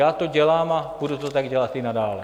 Já to dělám a budu to tak dělat i nadále.